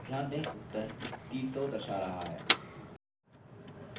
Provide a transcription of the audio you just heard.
ध्यान दें उत्तर 300 दर्शा रहा है